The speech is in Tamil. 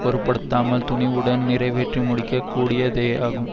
பொருட்படுத்தாமல் துணிவுடன் நிறைவேற்றி முடிக்கக் கூடியதேயாகும்